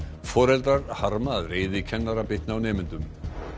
foreldrar harma að reiði kennara bitni á nemendum